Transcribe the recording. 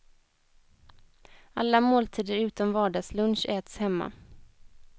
Alla måltider utom vardagslunch äts hemma.